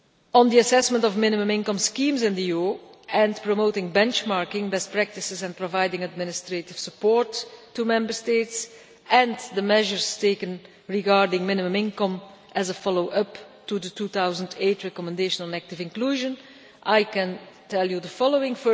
On the assessment of minimum income schemes in the EU and promoting benchmarking, best practices and providing administrative support to Member States and the measures taken regarding minimum income as a follow up to the 2008 recommendation on active inclusion, I can tell you the following.